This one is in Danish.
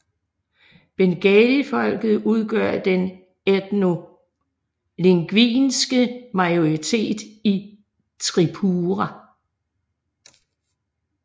Bengalifolket udgør den etnolingvistiske majoritet i Tripura